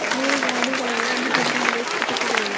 ಮೂರು ಗಾಡಿಗಳಿವೆ ಒಂದು ಬಿಲ್ಡಿಂಗ್ ಇದೆ ಕಿಟಕಿಗಳಿವೆ.